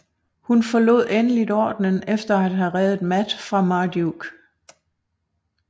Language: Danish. Hun forlod endeligt ordenen efter at havde redet Matt fra Marduke